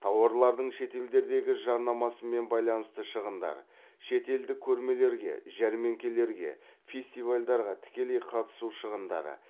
тауарлардың шетелдердегі жарнамасымен байланысты шығындар шетелдік көрмелерге жәрмеңкелерге фестивальдарға тікелей қатысу шығындары